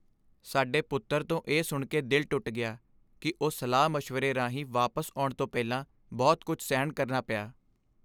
ਸਾਡੇ ਪੁੱਤਰ ਤੋਂ ਇਹ ਸੁਣ ਕੇ ਦਿਲ ਟੁੱਟ ਗਿਆ ਕਿ ਉਹ ਸਲਾਹ ਮਸ਼ਵਰੇ ਰਾਹੀਂ ਵਾਪਸ ਆਉਣ ਤੋਂ ਪਹਿਲਾਂ ਬਹੁਤ ਕੁੱਝ ਸਹਿਣ ਕਰਨਾ ਪਿਆ